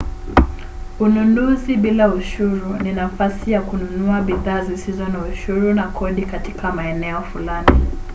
ununuzi bila ushuru ni nafasi ya kununua bidhaa zisizo na ushuru na kodi katika maeneo fulani